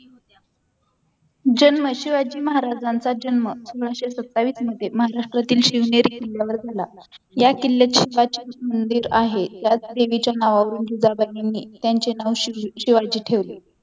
जन्म शिवाजी महाराजांचा जन्म सोळाशे सत्तावीस मध्ये महाराष्ट्रातील शिवनेरी किल्ल्यावर झाला या किल्यावर एक प्राचीन मंदिर आहे त्याच देवीच्या नावावरून जिजाबाईंनी त्यांचे नाव शिवाजी ठेवले